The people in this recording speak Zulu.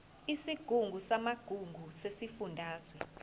isigungu samagugu sesifundazwe